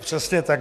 Přesně tak.